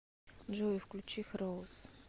джой включи хироус